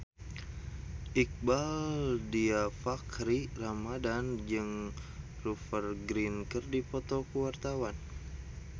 Iqbaal Dhiafakhri Ramadhan jeung Rupert Grin keur dipoto ku wartawan